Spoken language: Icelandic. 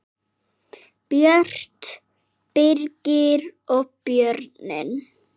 Björt, Birgir og börnin.